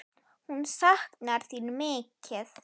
Hún saknar þín mikið.